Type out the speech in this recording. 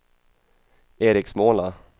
Eriksmåla